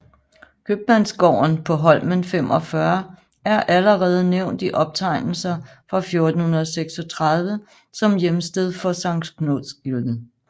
Købmandsgården på Holmen 45 er allerede nævnt i optegnelser fra 1436 som hjemsted for Sankt Knudsgildet